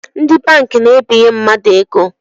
Ndi banki na-ebinye mmadụ ego